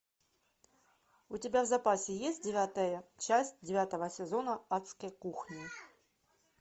у тебя в запасе есть девятая часть девятого сезона адской кухни